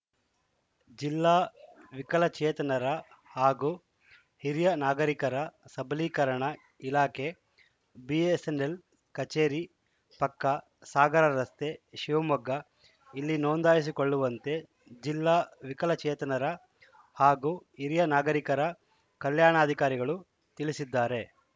ಜಿಲ್ಲಾ ವಿಕಲಚೇತನರ ಹಾಗೂ ಹಿರಿಯ ನಾಗರಿಕರ ಸಬಲೀಕರಣ ಇಲಾಕೆ ಬಿಎಸ್‌ಎನ್‌ಎಲ್‌ ಕಚೇರಿ ಪಕ್ಕ ಸಾಗರ ರಸ್ತೆ ಶಿವಮೊಗ್ಗ ಇಲ್ಲಿ ನೋಂದಾಯಿಸಿಕೊಳ್ಳುವಂತೆ ಜಿಲ್ಲಾ ವಿಕಲಚೇತನರ ಹಾಗೂ ಹಿರಿಯ ನಾಗರಿಕರ ಕಲ್ಯಾಣಾಧಿಕಾರಿಗಳು ತಿಳಿಸಿದ್ದಾರೆ